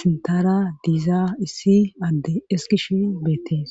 sintara diiza issi adde eskish beettees